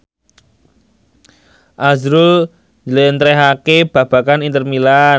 azrul njlentrehake babagan Inter Milan